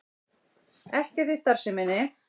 Ekkert í starfsemi